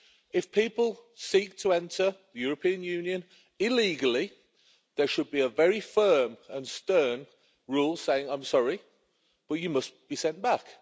If people seek to enter the European Union illegally there should be a very firm and stern rule saying I'm sorry, but you must be sent back.